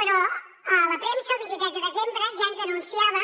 però la premsa el vint tres de desembre ja ens anunciava